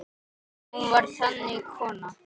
Hún var þannig kona.